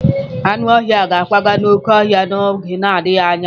Anụ ọhịa ga-akwaga n'oké ọhịa a n'oge na-adịghị anya.